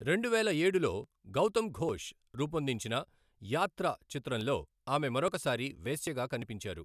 రెండువేల ఏడులో గౌతమ్ ఘోష్ రూపొందించిన యాత్ర చిత్రంలో ఆమె మరొక సారి వేశ్యగా కనిపించారు.